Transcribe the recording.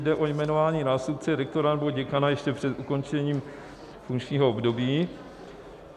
Jde o jmenování nástupce rektora nebo děkana ještě před ukončením funkčního období.